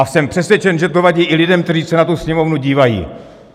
A jsem přesvědčen, že to vadí i lidem, kteří se na tu Sněmovnu dívají.